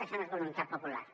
això no és voluntat popular